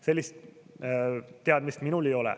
Sellist teadmist minul ei ole.